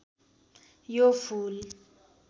यो फूल